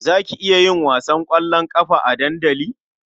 Za ki iya yin wasan ƙwallon ƙafa a dandali?